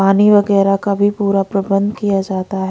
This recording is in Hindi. पानी वगैरह का भी पूरा प्रबंध किया जाता है।